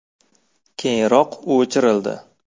Keyinroq u o‘chirildi.